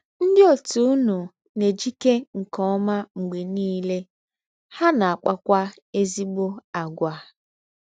Ndị òtù ụnụ na - ejike nke ọma mgbe niile, ha na - akpakwa ezịgbọ àgwà.